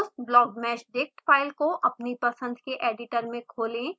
उस blockmeshdict file को अपनी पसंद के एडिटर में खोलें